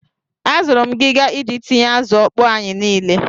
Azụrụ m ngiga iji tinye azụ ọkpọọ anyi niile.